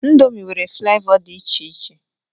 Indomi nwere flavọ dị iche iche.